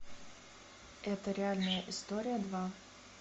это реальная история два